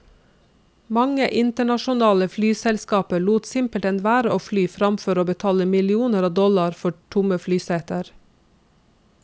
Mange internasjonale flyselskaper lot simpelthen være å fly fremfor å betale millioner av dollar for tomme flyseter.